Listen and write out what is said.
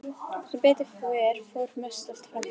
Sem betur fer fór mest allt fram hjá.